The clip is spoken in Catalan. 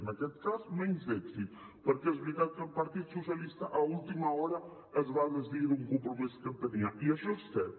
en aquest cas menys èxit perquè és veritat que el partit socialista a última hora es va desdir d’un compromís que tenia i això és cert